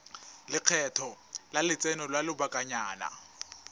lekgetho la lotseno lwa lobakanyana